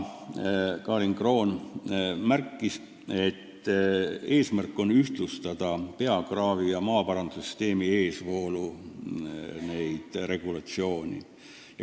Karin Kroon märkis, et eesmärk on ühtlustada peakraavi ja maaparandussüsteemi eesvoolu käsitlevat regulatsiooni.